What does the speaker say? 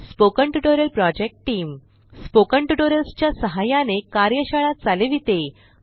spoken tutorial project team spoken tutorials च्या सहाय्याने कार्यशाळा चालविते